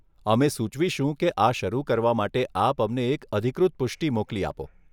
અમે સુચવીશું કે આ શરુ કરવા માટે આપ અમને એક અધિકૃત પુષ્ટિ મોકલી આપો.